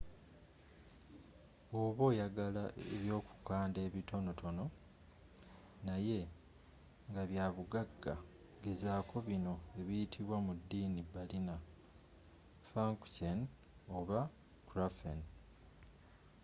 bwoba oyagala ebyokukanda ebitonotono naye ngabyabugagga gezaako bino ebiyitibwa mu ddiini berliner pfannkuchen oba krapfen